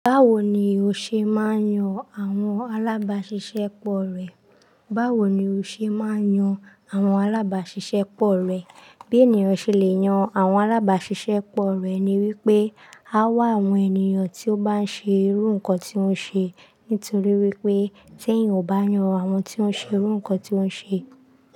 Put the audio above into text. Báwo ni o ṣe máa ń yan àwọn alábàáṣiṣẹ́ pọ̀ rẹ? Báwo ni o ṣe máa ń yan àwọn alábàáṣiṣẹ́ pọ̀ rẹ? Bí ènìyàn ṣẹlẹ̀ yan àwọn alábàsìsẹ́pọ̀ rẹ̀ ni wípé a wá àwọn ènìyàn tí ó bán ṣe irú ǹkan tí ó ń ṣe nítorí wípé tí èèyàn ò bá yan àwọn tó ń ṣe irú ǹkan tí ó ń ṣe.